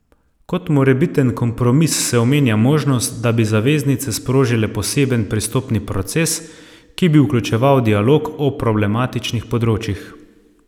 Kot morebiten kompromis se omenja možnost, da bi zaveznice sprožile poseben pristopni proces, ki bi vključeval dialog o problematičnih področjih.